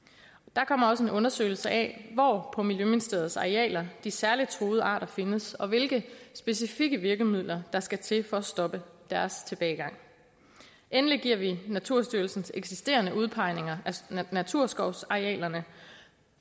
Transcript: der kommer også en undersøgelse af hvor på miljøministeriets arealer de særligt truede arter findes og hvilke specifikke virkemidler der skal til for at stoppe deres tilbagegang endelig giver vi naturstyrelsens eksisterende udpegninger af naturskovsarealerne